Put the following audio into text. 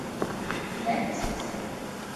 дантист